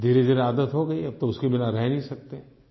धीरेधीरे आदत हो गई अब तो उसके बिना रह नहीं सकते